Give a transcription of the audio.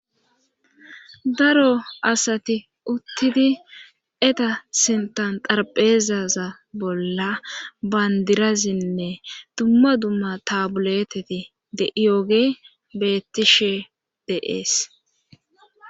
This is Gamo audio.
Daro asati uttidi eta sinthan tarpheezaza bolla bandirazinne dumma dumma tabuleteti de iyooge bettishe deees.